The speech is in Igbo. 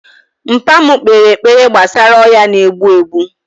Mpa mu kpere ekpere gbasara ọya na egbu egbu